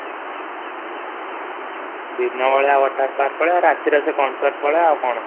ଦିନ ବେଳ ରେ ୱାଟାର ପାର୍କ ପଳେଇବା ରାତିରେ ସେ consort ପଳେଇବା ଆଉ କ'ଣ